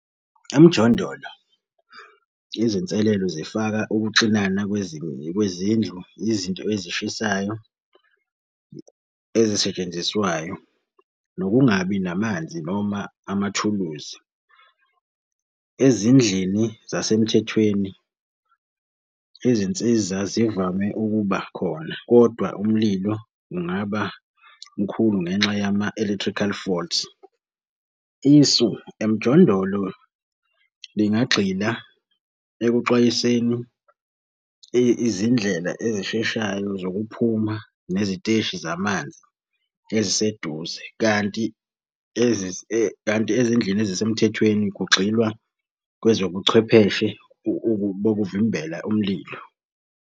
Emjondolo izinselelo zifaka ukuxinana kwezindlu, izinto ezishisayo ezisetshenziswayo nokungabi namanzi noma amathuluzi. Ezindlini zasemthethweni, izinsiza zivame ukuba khona kodwa umlilo ungaba mkhulu ngenxa yama-electrical fault. Isu, emjondolo lingagxila ekuxwayiseni izindlela ezisheshayo zokuphuma neziteshi zamanzi eziseduze, kanti kanti ezindlini ezisemthethweni kugxilwa kwezobuchwepheshe bokuvimbela umlilo.